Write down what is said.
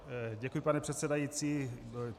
Děkuji, pane předsedající.